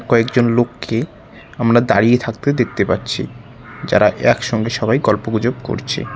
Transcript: কয়েকজন লোককে আমরা দাঁড়িয়ে থাকতে দেখতে পাচ্ছি যারা একসঙ্গে সবাই গল্প গুজব করছে।